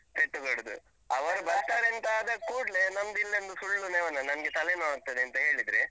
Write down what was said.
ಪೆಟ್ಟು ಕೊಡುದು ಅವರು ಬರ್ತಾರೇಂತಾ ಆದ ಕೂಡ್ಲೇ ನಮ್ಗಿನ್ನೊಂದು ಸುಳ್ಳು ನೆವನ, ನನ್ಗೆ ತಲೆನೋವಾಗ್ತದೆ ಅಂತ ಹೇಳಿದ್ರೆ.